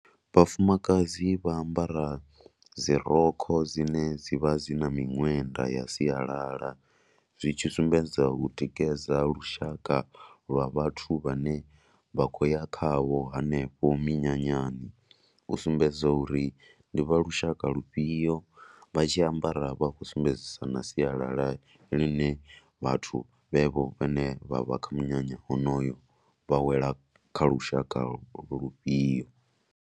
Vhafumakadzi vha ambara dzi rokho dzine dzi vha dzi na miṅwenda ya sialala. Zwi tshi sumbedza u tikedza lushaka lwa vhathu vhane vha khou ya khavho hanefho minyanyani. U sumbedza uri ndi vha lushaka lufhio vha tshi ambara vha khou sumbedzisa na sialala ḽine vhathu vhevho vhane vha vha kha munyanya honoyo vha wela kha lushaka lufhio.